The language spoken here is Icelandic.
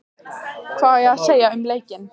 Hvað ég á að segja um leikinn?